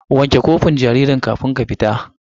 Wanke kofin jaririn kafin ki fita!